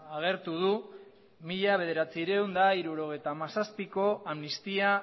agertu du mila bederatziehun eta hirurogeita hamazazpiko amnistia